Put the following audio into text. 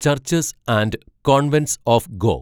churches and convents of go